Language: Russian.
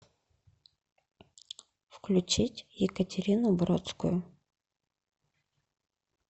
включить екатерину бродскую